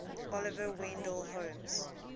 oliver wendell holmes